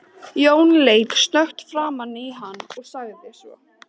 Jón leit snöggt framan í hann og sagði svo